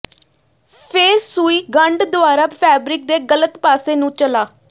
ਫਿਰ ਸੂਈ ਗੰਢ ਦੁਆਰਾ ਫੈਬਰਿਕ ਦੇ ਗਲਤ ਪਾਸੇ ਨੂੰ ਚਲਾ